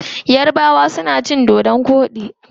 Yarabawa suna son cin dodo koɗi.